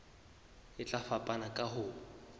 e tla fapana ka ho